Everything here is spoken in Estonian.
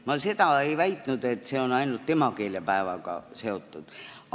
Ma ei väitnud, et see on ainult emakeelepäevaga seotud.